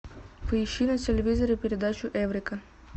поищи на телевизоре передачу эврика